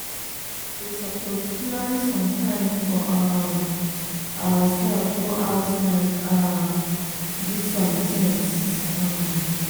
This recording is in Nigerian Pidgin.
we suppose plan some time for um ourselves go outside um do some tings. um